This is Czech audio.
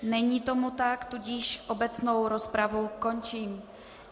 Není tomu tak, tudíž obecnou rozpravu končím.